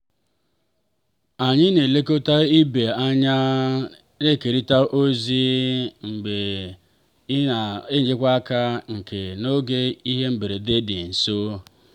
anyị na-elekọta ibe anyịna-ekerịta ozi ma na-enyekwa aka n'oge ihe mberede dị nso.